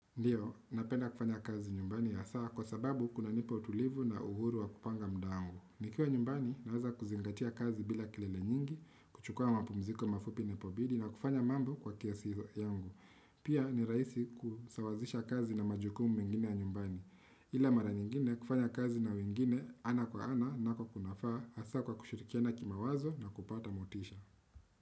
Ndiyo, napenda kufanya kazi nyumbani hasaa kwa sababu kunanipa utulivu na uhuru wa kupanga muda wangu. Nikiwa nyumbani, naweza kuzingatia kazi bila kelele nyingi, kuchukua mapumziko mafupi inapobidi na kufanya mambo kwa kiasi yangu. Pia ni rahisi kusawazisha kazi na majukumu mengine ya nyumbani. Ila mara nyingine kufanya kazi na wengine ana kwa ana nako kunafaa hasaa kwa kushirikiana kimawazo na kupata motisha.